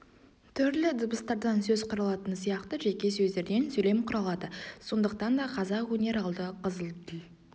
түрлі дыбыстардан сөз құралатыны сияқты жеке сөздерден сөйлем құралады сондықтан да қазақ өнер алды қызыл тіл